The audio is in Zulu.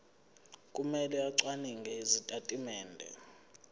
kumele acwaninge izitatimende